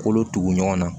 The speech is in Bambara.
Kolo tugu ɲɔgɔn na